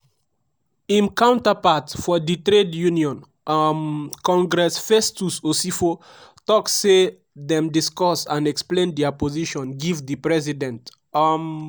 im counterpart for di trade union um congress festus osifo tok say dem discuss and explain dia position give di president. um